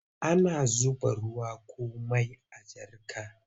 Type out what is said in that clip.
Ana zuba ruwa ko mai a jarka.